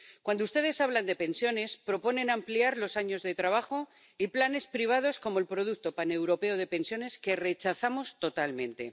Cuando ustedes hablan de pensiones, proponen ampliar los años de trabajo y planes privados, como el producto paneuropeo de pensiones, que rechazamos totalmente.